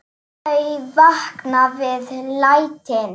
Þau vakna við lætin.